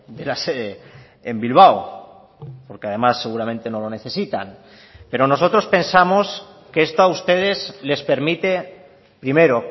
de la sede en bilbao porque además seguramente no lo necesitan pero nosotros pensamos que esto a ustedes les permite primero